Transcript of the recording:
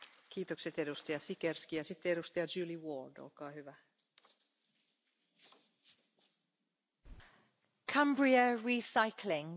Cumbria Recycling in my North West constituency is an excellent best practice example of the circular economy.